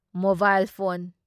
mobile phone